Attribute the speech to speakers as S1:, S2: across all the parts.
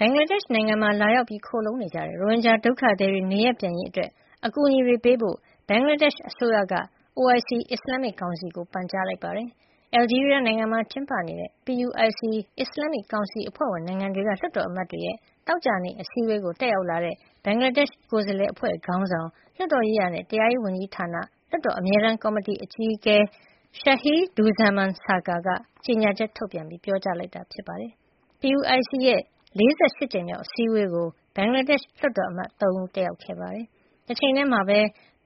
S1: ဘင်္ဂလားဒေ့ရှ်နိုင်ငံမှာ လာရောက်ခိုလှုံနေကြတဲ့ ရိုဟင်ဂျာဒုက္ခသည်တွေ နေရပ်ပြန်ရေးအတွက် အကူအညီပေးဖို့ ဘင်္ဂလားဒေ့ရှ်အစိုးရက OIC အစ္စလာမ်မစ် ကောင်စီကို ပန်ကြားလိုက်ပါတယ်။ အယ်လ်ဂျီးရီးယားမှာကျင်းပတဲ့ PUIC အစ္စလာမ်မစ်ကောင်စီအဖွဲ့ဝင်နိုင်ငံတွေက လွှတ်တော်အမတ်တွေရဲ့ သောကြာနေ့အစည်းအဝေးကို တက်ရောက်လာတဲ့ ဘင်္ဂလားဒေ့ရှ် ကိုယ်စားလှယ်အဖွဲ့ခေါင်းဆောင်၊ လွှတ်တော်ရေးရာနဲ့ တရားရေးဝန်ကြီးဌာန လွှတ်တော်အမြဲတမ်းကော်မတီအကြီးအကဲ Md Shahiduzzaman Sarker က ကြေညာချက် ထုတ်ပြန်ပြောကြားလိုက်တာ ဖြစ်ပါတယ်။ PUIC ရဲ့ ၄၈ ကြိမ် မြောက် အစည်းဝေးကို ဘင်္ဂလားဒေ့ရှ် လွှတ်တော်အမတ် ၃ ဦးတက်ရောက်ခဲ့ပါတယ်။ တချိန်တည်းမှာပဲ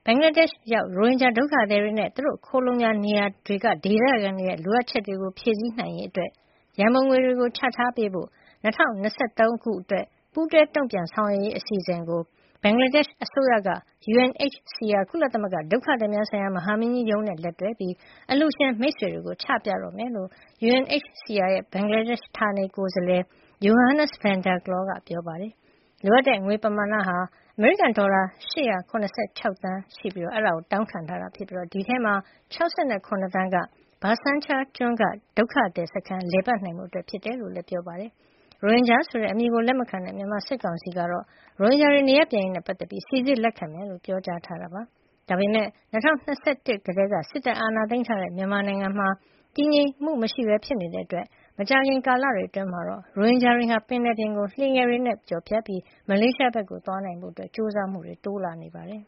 S1: ဘင်္ဂလားဒေ့ရှ်ရောက် ရိုဟင်ဂျာဒုက္ခသည်တွေနဲ့ သူတို့ ခိုလှုံရာနေရာတွေက ဒေသခံတွေရဲ့လိုအပ်ချက်တွေ ဖြည့်ဆည်းရေးဆိုင်ရာ ရန်ပုံငွေချပေးဖို့ ၂၀၂၃ ခုနှစ်အတွက် ပူးတွဲတုံ့ပြန်ဆောင်ရွက်ရေးအစီအစဉ်ကို ဘင်္ဂလားဒေ့ရှ် အစိုးရက UNHCR ကုလသမဂ္ဂဒုက္ခသည်များဆိုင်ရာ မဟာမင်းကြီးရုံးနဲ့လက်တွဲပြီး အလှူရှင်မိတ်ဆွေတွေကို ချပြတော့မယ်လို့ UNHCR ရဲ့ ဘင်္ဂလားဒေ့ရှ်ဌာနေ ကိုယ်စားလှယ် Johannes van der Klaauw ကပြောပါတယ်။ လိုအပ်တဲ့ငွေပမာဏ အမေရိကန်ဒေါ်လာ ၈၇၆ သန်း တောင်းခံထားတာဖြစ်ပြီး ဒီအထဲမှာ ၆၇ သန်းက Bhasab Char ကျွန်းကဒုက္ခသည်စခန်း လည်ပတ်နိုင်ဖို့အတွက်ဖြစ်ကြောင်းလည်း ပြောပါတယ်။ ရိုဟင်ဂျာဆိုတဲ့အမည်ကိုလက်မခံတဲ့ မြန်မာစစ်ကောင်စီကတော့ ရိုဟင်ဂျာတွေ နေရပ်ပြန်ရေးနဲ့ပတ်သက်ပြီး စိစစ်လက်ခံမှာဖြစ်ကြောင်း ပြောကြားထားတာပါ။ ဒါပေမယ့် ၂၀၂၁ ကတည်းက စစ်တပ်အာဏာသိမ်းထားတဲ့ မြန်မာနိုင်ငံမှာ မတည်မငြိမ်ဖြစ်နေတဲ့အတွက် မကြာခင်လတွေအတွင်းမှာတော့ ရိုဟင်ဂျာတွေဟာ ပင်လယ်ပြင်ကို လှေငယ်တွေနဲ့ဖြတ်ကျော်ပြီး မလေးရှားဘက်ကိုသွားနိုင်ဖို့ ကြိုးစားမှုတွေ တိုးလာနေပါတယ်။